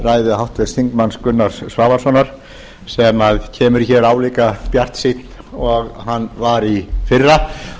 ræðu háttvirts þingmanns gunnars svavarssonar sem kemur hér álíka bjartsýnn og hann var í fyrra